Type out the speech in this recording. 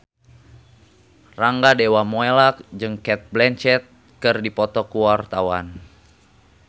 Rangga Dewamoela jeung Cate Blanchett keur dipoto ku wartawan